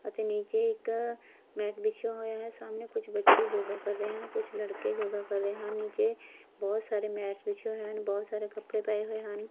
ਅਤੇ ਨੀਚੇ ਇੱਕ ਮੈਟ ਬਿਛਿਆ ਹੋਇਆ ਹੈ ਸਾਹਮਣੇ ਕੁਝ ਬੱਚੇ ਜੋਗਾ ਕਰ ਰਹੇ ਹਨ ਕੁਝ ਲੜਕੇ ਜੋਗਾ ਕਰ ਰਹੇ ਹਨ ਨੀਚੇ ਬਹੁਤ ਸਾਰੇ ਮੈਟਸ ਬਿਛੇ ਹੋਏ ਹਨ ਬਹੁਤ ਸਾਰੇ ਕੱਪੜੇ ਪਏ ਹੋਏ ਹਨ।